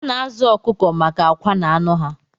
A na-azụ ọkụkọ maka akwa na anụ ha